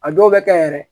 A dɔw bɛ kɛ yɛrɛ